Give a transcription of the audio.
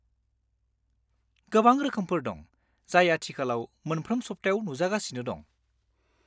गोबां रोखोमफोर दं, जाय आथिखालाव मोनफ्रोम सप्तायाव नुजागासिनो दं।